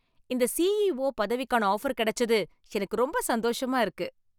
இந்த சிஇஓ பதவிக்கான ஆஃபர் கிடைச்சது எனக்கு ரொம்ப சந்தோஷமா இருக்கு.